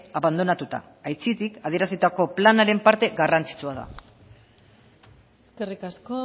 abandonatuta aitzitik adierazitako planaren parte garrantzitsua da eskerrik asko